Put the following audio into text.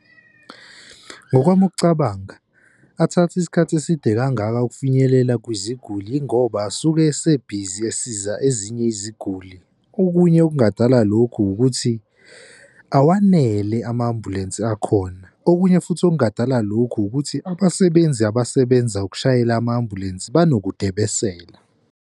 Ngokwami ukucabanga athathe isikhathi eside kangaka ukufinyelela kwiziguli ingoba asuke ese-busy esiza ezinye iziguli. Okunye okungadala lokhu ukuthi awanele ama-ambulensi akhona, okunye futhi okungadala lokhu, ukuthi abasebenzi abasebenza ukushayela ama-ambulensi banokudebesela.